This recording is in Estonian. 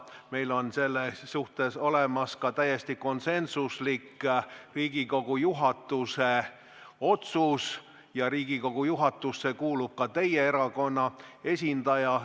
Meil on selle kohta olemas täiesti konsensuslik Riigikogu juhatuse otsus ja Riigikogu juhatusse kuulub ka teie erakonna esindaja.